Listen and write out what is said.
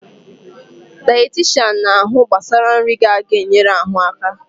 Dayetishan na-ahụ gbasara nri ga-ga-enyere ahụ aka